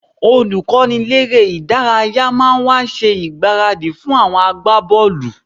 Olùkọ́niléré-ìdárayá máa wá ṣe ìgbáradì fún àwọn agbábọ́ọ̀lù